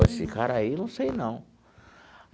Esse cara aí, não sei, não.